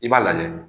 I b'a lajɛ